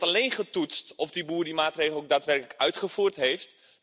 Er wordt alleen getoetst of de boer die maatregel ook daadwerkelijk uitgevoerd heeft.